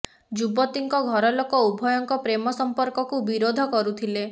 ଯୁବତୀଙ୍କ ଘର ଲୋକ ଉଭୟଙ୍କ ପ୍ରେମ ସଂପର୍କକୁ ବିରୋଧ କରୁଥିଲେ